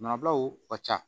Manabilaw ka ca